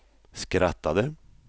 skrattade